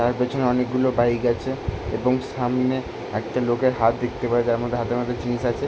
তার পেছনে অনেকগুলো বাইক আছে এবং সামনে একটা লোকের হাত দেখতে পাচ্ছি এবং হাতের মধ্যে একটা জিনিস আছে ।